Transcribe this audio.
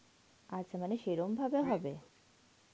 আচ্ছা মানে সেরম ভাবে হবে?